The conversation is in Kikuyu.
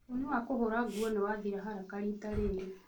Thabuni wa kũhũra nguo nĩ wathira haraka riita rĩrĩ